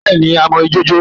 Bẹ́ẹ̀́ẹ̀ ni, a mọ ijó jó